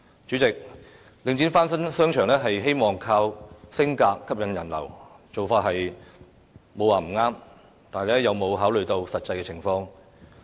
主席，領展翻新商場，希望靠"升格"吸引人流，做法並無不對，但有否考慮實際情況？